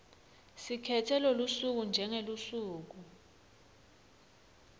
sikhetse lolusuku njengelusuku